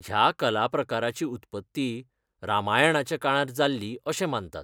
ह्या कलाप्रकाराची उत्पत्ती रामायणाच्या काळांत जाल्ली अशें मानतात.